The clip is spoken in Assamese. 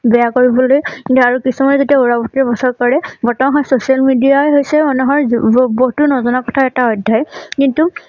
বেয়া কৰিবলৈ আৰু কিছুমানে যেতিয়া উৰা বাতৰি বছৰ কৰে বৰ্তমান হয় social media ৰ হৈছে মানুহৰ য ববস্তু নজনা কথা এটা অধ্যায় কিন্তু